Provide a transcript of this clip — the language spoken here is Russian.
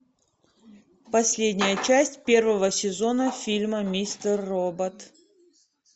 последняя часть первого сезона фильма мистер робот